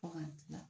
Fo ka dilan